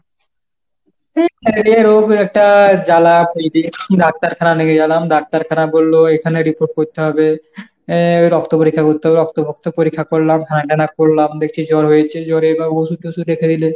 এই ম্যালেরিয়া রোগ একটা জ্বালা ডাক্তারখানা নিয়ে গেলাম, ডাক্তারখানা বললো এখানে report করতে হবে, এ রক্ত পরীক্ষা করতে হবে। রক্ত ভক্ত পরীক্ষা করলাম। করলাম দেখছি জ্বর হয়েছে, জ্বরে বা ওষুধ টষুধ রেখে দিলে